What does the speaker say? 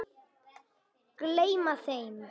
Gleyma þeim.